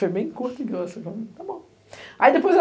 Foi bem curto e grosso.